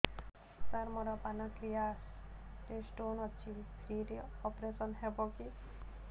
ସାର ମୋର ପାନକ୍ରିଆସ ରେ ସ୍ଟୋନ ଅଛି ଫ୍ରି ରେ ଅପେରସନ ହେବ କି